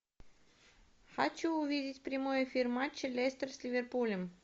хочу увидеть прямой эфир матча лестер с ливерпулем